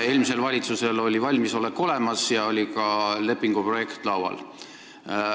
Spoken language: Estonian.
Eelmisel valitsusel oli valmisolek olemas ja oli ka lepingu projekt laual.